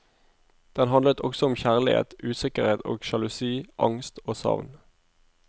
Den handlet også om kjærlighet, usikkerhet og sjalusi, angst og savn.